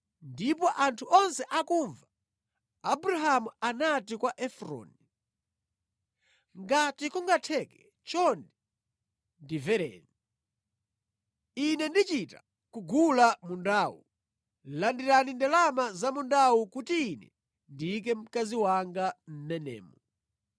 ndipo anthu onse akumva Abrahamu anati kwa Efroni, “Ngati kungatheke, chonde ndimvereni. Ine ndichita kugula mundawu. Landirani ndalama za mundawu kuti ine ndiyike mkazi wanga mʼmenemo.”